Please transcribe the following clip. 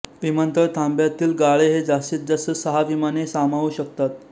विमानतळ थांब्यातील गाळे हे जास्तीत जास्त सहा विमाने सामावू शकतात